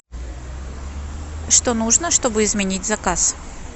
что нужно чтобы изменить заказ